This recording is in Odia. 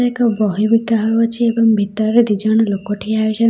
ଏକ ବହି ବିକା ହେଉଅଛି ଏବଂ ଭିତରେ ଦିଜଣ ଲୋକ ଠିଆ ହୋଇଛନ୍।